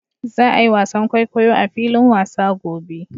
Za a yi wasan kwaikwayo a filin wasa gobe